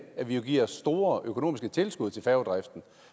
at vi giver store økonomiske tilskud til færgedriften og